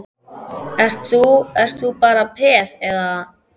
Ert þú, ert þú bara peð, eða?